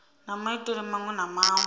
na maitele maṅwe na maṅwe